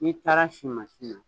I taar'a si mansi na